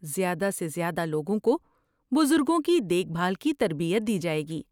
زیادہ سے زیادہ لوگوں کو بزرگوں کی دیکھ بھال کی تربیت دی جائے گی۔